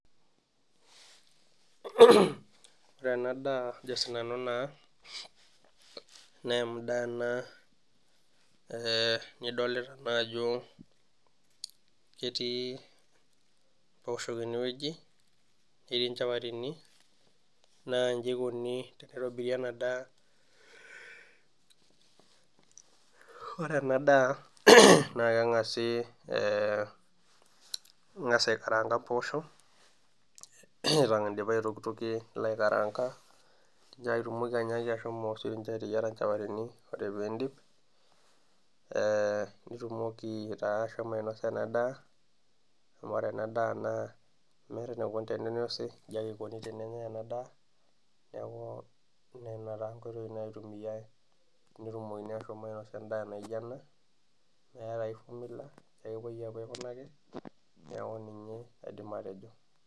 Ore ena daa naa endaa ena nidolita ajo ketii mpooshok enweji netii nchapatini naa njii eikoni tenitobiri ena daa, ore ena daa naa kengasi aikaraanka mpoosho, ore indipa aitokitokie nilo aikaraanka nitumoki siininche ashomo ateyiera nchapatini ore pee indip nitumoki taa ashomo ainosa ena daa amu ore ena daa meeta enaikoni teninosi inji ake eikoni tenenyae ena daa neeku nena taa nkoitoi naitumiyiai tenetumokini ashom ainosa endaa naijo ena meeta ai fomula nejia ake epoi aikunaki naaku nejia aidim atejo.